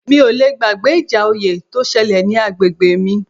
Mi ò le gbàgbé ìjà oyè tó ṣẹlẹ̀ ní agbègbè mi